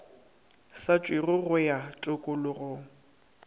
sa tšewego go ya tokologong